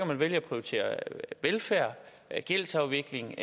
man vælge at prioritere velfærd gældsafvikling